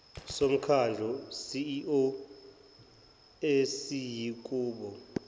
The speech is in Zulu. somkhandlu ceo esiyakuba